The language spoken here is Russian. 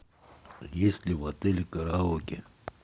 есть ли в отеле караоке